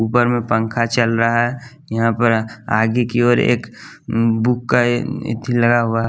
ऊपर में पंखा चल रहा है यहाँ पर आगे की ओर एक बुक का इथ लगा हुआ है।